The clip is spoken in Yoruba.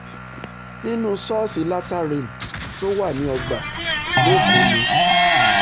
nínú ṣọ́ọ̀ṣì latter rain tó wà ní ọgbà lẹ́kọ̀ọ́ ni